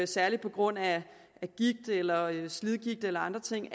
særlig på grund af gigt eller slidgigt eller andre ting